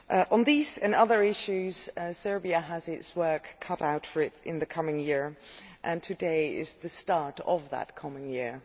On these and other issues Serbia has its work cut out for it in the coming year, and today is the start of that coming year.